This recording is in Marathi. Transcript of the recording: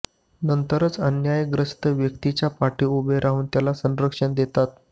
नंतरच अन्यायग्रस्त व्यक्तीच्या पाठी उभे राहून त्याला संरक्षण देतात